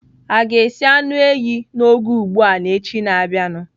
Aga esi anụ ehi n'oge ugbu a n'echi na-abịanụ?